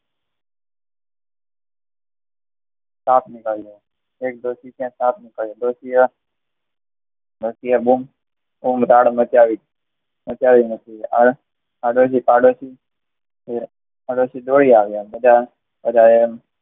સાપ નીકળ્યો હતો ડોશી કે સાપ નીકળ્યો હતો આગળથી પાડોશી દોડી આવ્યા બધા બધાએ